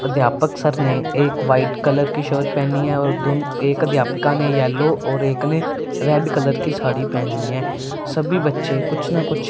अध्यापक सर ने एक वाइट कलर की शर्ट पहनी है और दोनों एक अध्यापिका ने येलो और एक ने रेड कलर की साड़ी पहनी है सभी बच्चे कुछ ना कुछ--